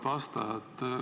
Auväärt vastaja!